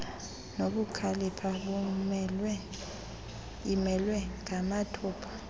nobukhalipha imelwe ngamathupha